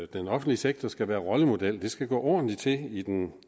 den offentlige sektor skal være rollemodel det skal gå ordentligt til i den